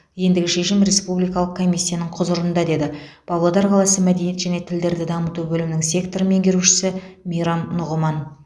ендігі шешім республикалық комиссияның құзырында деді павлодар қаласы мәдениет және тілдерді дамыту бөлімінің сектор меңгерушісі мейрам нұғыман